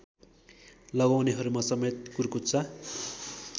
लगाउनेहरूमा समेत कुर्कुच्चा